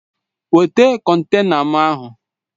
Weta kọntena m ahụ!